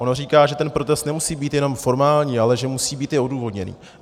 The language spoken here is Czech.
Ono říká, že ten protest nemusí být jenom formální, ale že musí být i odůvodněný.